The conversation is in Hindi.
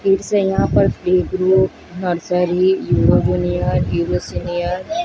फिर से यहां पर र--